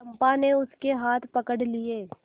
चंपा ने उसके हाथ पकड़ लिए